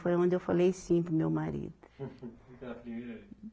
Foi onde eu falei sim para o meu marido.